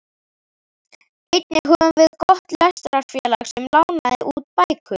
Einnig höfðum við gott lestrarfélag sem lánaði út bækur.